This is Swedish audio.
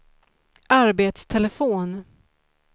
arbetstelefon